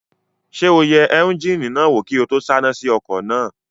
Ṣé o yẹ éúnjínì náà wò kí n tó sáná sí ọkọ̀ náà?